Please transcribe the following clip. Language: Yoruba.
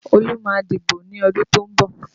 Olú má a dìbò ní ọdún tó ń bọ̀